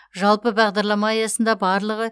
жалпы бағдарлама аясында барлығы